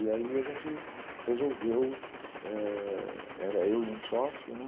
E aí a gente resolveu, eh... era eu e um sócio, né?